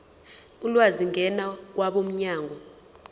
ulwazi ngena kwabomnyango